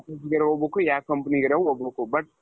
ಹೋಗ್ಬೇಕು ಯಾವ್ companyಗಿರಂಗೆ ಹೋಗ್ಬೇಕು but,